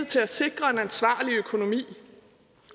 til at sikre en ansvarlig økonomi